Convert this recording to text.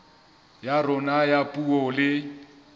ya rona ya puo le